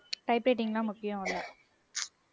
type writing தான் முக்கியம் இல்ல